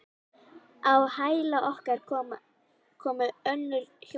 Á hæla okkar komu önnur hjón.